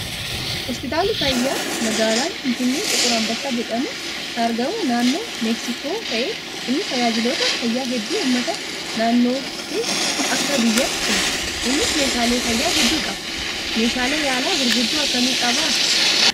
Hospitaalli fayyaa magaalaa Finfinnee xiqur anbassaa jedhamu kan argamu naannoo meeksikoo ta'ee innis tajaajiloota fayyaa hedduu uummata naannoo fi akka biyyaatti kenna. Innis meeshaalee fayyaa hedduu qaba. Meeshaalee yaalaa gurguddoo akkamii qabaa?